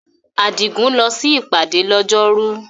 Adigun lọ sí ìpàdé lọ́jọ́rú.